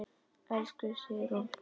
Elsku Sigrún.